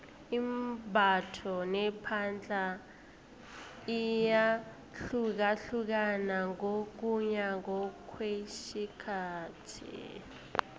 imbatho nepahla iyahlukahlukana ngokuya ngokwesikhathi